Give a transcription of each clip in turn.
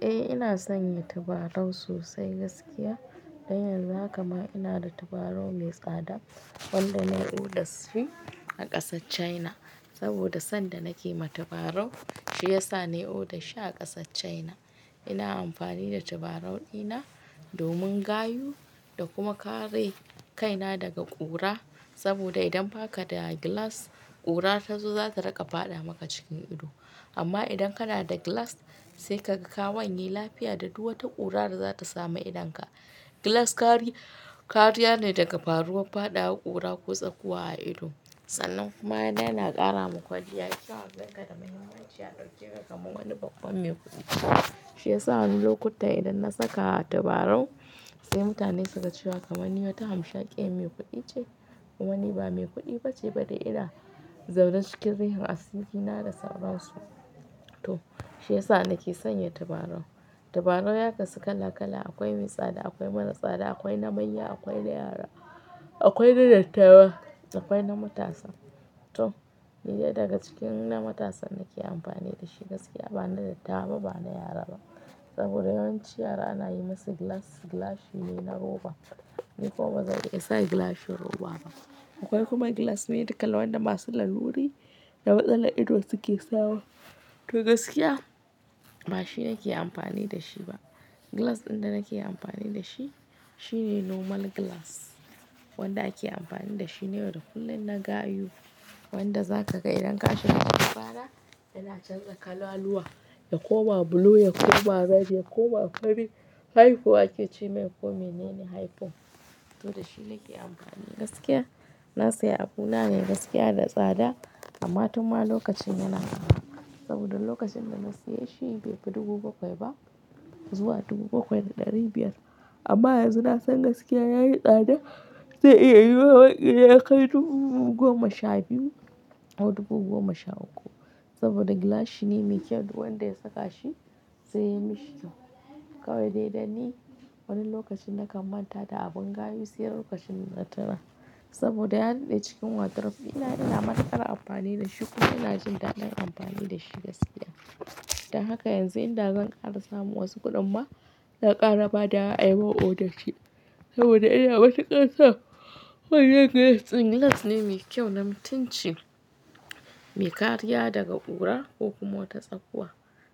Eh ina sa ya tabarau sosai gaskiya. Dan yanzu haka ma ina da tabarau mai tsada wanda na yi oda shi a ƙasar China. Sanda nake mata tabarau, shi ya sa na yi oda shi a ƙasar China. Ina amfani da tabarau ɗina domin gayu da kuma kare kaina daga ƙura. Saboda idan baka da glass ƙura tazo za ta raka faɗa maka cikin ido. Amma idan kana da gilas sai kaga ka wanye lafiya da du wata ƙura da za ta samu idonka. Glass kari kariya ne daga faruwar faɗawa ƙura ko tsakuwa a ido. Sannan kuma yana ƙara ma kwalliya sai a dauke ka kamar wani babban mai kuɗi. Shi ya sa wani lokuta idan na saka tabarau sai mutane suga cewa kamar ninwata hamshakiya mai kuɗi ce. Kuma ni ba me kuɗi bace ba ina zaune cikin rihin asiri na to shiyasa nake sanya tabarau. Tabarau ya kasu kala kala akwai mai tsada, akwai mara tsada, akwai na manya, akwai na yara, akwai na dattawa akwai na matasa to ni dai daga cikin na matasan nake amfani da shi gaskiya ba na dattawa ba na yara ba. Saboda yawanci yara ana yi masa gilas, gilashi ne na roba. Ni kuma ba zan iya sa gilashin roba ba. Akwai kuma gilas ne kala na masu laluri da wa yanda idon suke sawa to gaskiya ba shi nake amfani da shi ba. Gilas ɗin da nake amfani da shi, shi ne normal gilas wanda ake amfani da shi na yau da kullum na gayu. Wanda zaka idan ka shiga cikin rana yana canza kalaluwa ya koma blue ya koma red ya koma ake ce mai ko menene harafin to da shi nake amfani gaskiya. Na sai abuna ne gaskiya da tsada amma tun ma lokacin yana arha. Saboda lokacin da na siya shi bai fi dubu bakwai ba zuwa dubu bakwai da ɗari biyar. Amma yanzu na san gaskiya ya yi tsada zai iya yiwuwa ya kai dubu goma sha biyu ko dubu goma sha uku. Saboda gilashi ne mai kyau du wanda ya saka shi sai ya yi mishi kyau. Kawai dai da ni wani lokacin na kam manta da abun gayu sai lokacin na tuna saboda ya dade cikin wardrobe ina matukar amfani da shi kuma ina jin daɗin amfani da shi gaskiya. Da haka yanzu inda zan ƙara samu wasu kuɗin ma zan ƙara ba dawa ayi oda shi. Saboda ina matukar son wannan gilas din, gilas ne mai kyau na mutunci, mai kariya daga ƙura ko kuma wata tsakuwa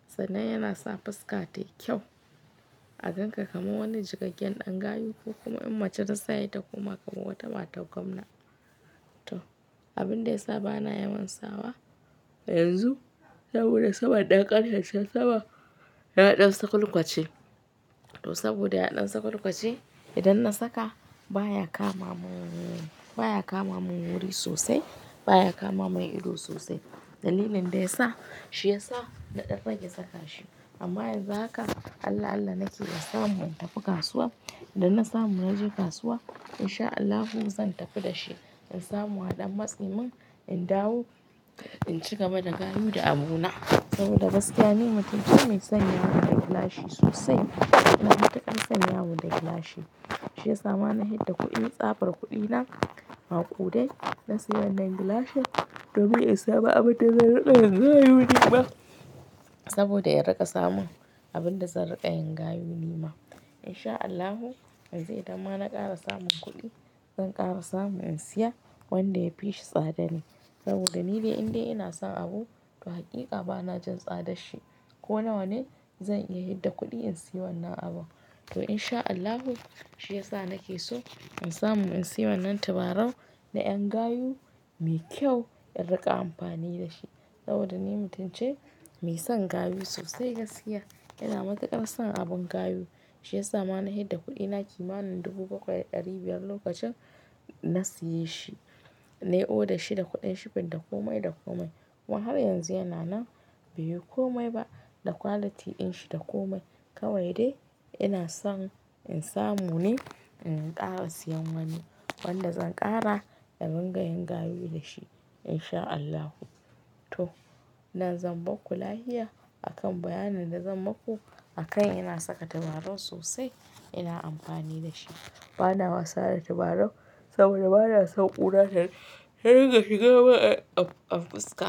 sannan yana sa fuska tayi kyau. A ganka kaman wani cikakken ɗan gayu ko kuma in mace ta saya ta koma kamar wata matar gwamna. To abinda ya sa bana yawan sawa yanzu saboda sabon ɗan ƙaryar can Sabo ya haɗa sakulkwace. To saboda ya haɗan sakulkwace idan na saka baya kama mun, baya kama mun wuri sosai baya kama mun ido sosai. Dalilin da ya sa shi ya sa na ɗan rage saka shi. Amma yanzu haka Allah-Allah nake in samu in tafi kasuwa. Idan na samu na je kasuwa in sha Allahu zan tafi da shi. In samu aɗan matse mun in dawo in cigaba da gayu da abuna. Saboda gaskiya ni mutunci mai son yawo da gilashi sosai. Ina matukar son yawo da gilashi. Shi ya sa ma na hidda kuɗi tsabar kuɗi na maƙude na siya wannan gilashin domin ya sa ba abota zan raɗa yanga yunin ba. Saboda ya riƙa samun abin da zan riƙaa yin gayu nima. Insha Allahu yanzu idan ma na ƙara samun kuɗi zan ƙara samu in siya wanda yafi shi tsada ne. Saboda ni dai indai ina sa abu to hakika bana jin tsadar shi. Ko nawane zan iya yi da kuɗi in siya wannan abu. To insha Allahu shi ya sa nake so in samu in siya wannan tabarau na ƴan gayu mai kyau in riƙa amfani da shi. Saboda ni mutunci mai son gayu sosai gaskiya. Ina matuƙar son abin gayu. Shi ya sa ma na yi da kuɗina kimanin dubu bakwai da ɗari biyar lokacin na siye shi. Na yi oda shi da kuɗin shifin da komai da komai kuma har yanzu yana nan bai yi komai ba. Da quality din shi da komai. Kawai de ina son in samu ne in ƙara sayen wani wanda zan ƙara irin ga yin gayu da shi in shaa allah to nan zan bar ku lahiya akan bayanin da zan maku a kan ina saka tabarau sosai ina amfani da shi. Bana wasa da tabarau saboda bana son ƙura ta riga shiga mun a fuska.